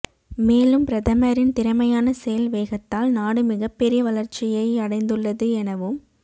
மேலும் பிரதமரின் திறமையான செயல் வேகத்தால் நாடு மிகப் பெரிய வளர்ச்சியை அடைந்துள்ளது எனவும்